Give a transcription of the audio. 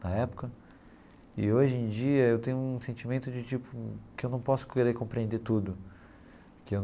na época, e hoje em dia eu tenho um sentimento de tipo que eu não posso querer compreender tudo.